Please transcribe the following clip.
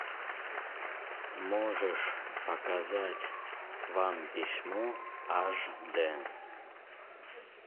можешь показать вам письмо аш д